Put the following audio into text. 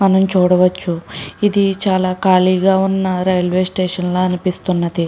మనం చూడవచ్చు ఇది చాలా ఖాళీగా ఉన్నా రైల్వే స్టేషన్ లాగా అనిపిస్తుంది.